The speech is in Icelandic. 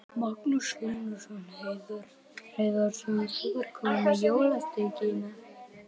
Magnús Hlynur Hreiðarsson: Þú ert komin með jólasteikina?